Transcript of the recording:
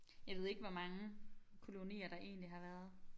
Jeg ved ikke hvor mange kolonier der egentlig har været